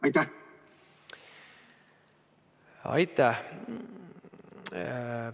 Aitäh!